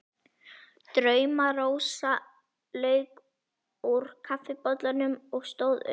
Drauma-Rósa lauk úr kaffibollanum og stóð upp.